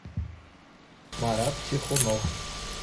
марат чехунов